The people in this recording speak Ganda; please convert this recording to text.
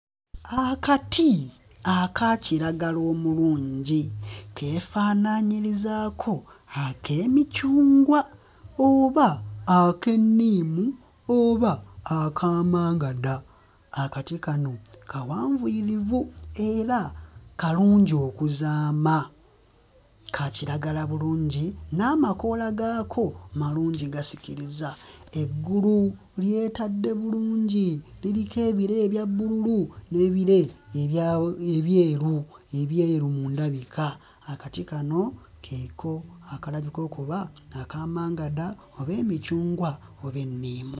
Akati akakiragala omulungi, keefaananyirizaako ak'emicungwa, oba ak'enniimu oba akamangada. Akati kano kawanvuyirivu era kalungi okuzaama, ka kiragala bulungi n'amakoola gaako malungi gasikiriza, eggulu lyetadde bulungi liriko ebire ebya bbululu n'ebire ebya ebyeru, ebyeru mu ndabika. Akati kano keeko akalabika okuba akamangada oba emicungwa oba enniimu.